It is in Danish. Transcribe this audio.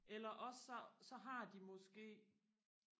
eller også så så har de måske